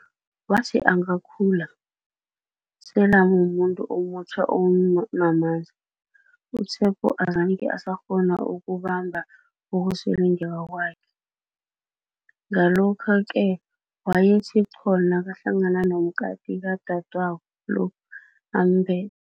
Wathi angakhula, selamu muntu omutjha onamandla, u-Tshepo azange asakghona ukubamba ukusilingeka kwakhe, ngalokho-ke wayethi qho nakahlangana nomkati kadadwabo lo, ambethe.